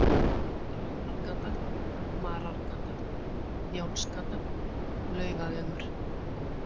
Ránargata, Marargata, Njálsgata, Laugavegur